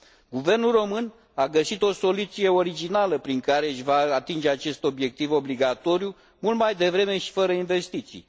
Guvernul român a găsit o soluție originală prin care își va atinge acest obiectiv obligatoriu, mult mai devreme și fără investiții.